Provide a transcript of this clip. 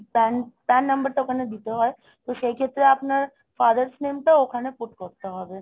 PAN PAN number টা ওখানে দিতে হয়, তো সেই ক্ষেত্রে আপনার father's name টাও ওখানে put করতে হবে